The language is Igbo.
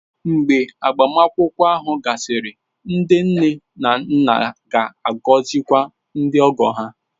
Mgbe agbamakwụkwọ ahụ gasịrị, ndị nne na nna ga-agọzikwa ndị ogo ha